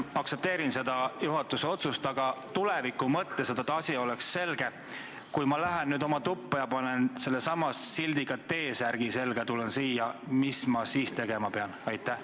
Aktsepteerin seda juhatuse otsust, aga tuleviku mõttes, et asi oleks selge: kui ma lähen nüüd oma tuppa ja panen sellesama tekstiga T-särgi selga ja tahan siia tulla, mis ma siis tegema pean?